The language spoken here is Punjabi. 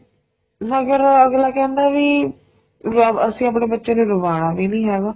ਮਗਰ ਅੱਗਲਾ ਕਹਿੰਦਾ ਵੀ ਅਸੀਂ ਆਪਣੇ ਬੱਚੇ ਨੂੰ ਰੁਵਾਣਾ ਵੀ ਨੀ ਹੈਗਾ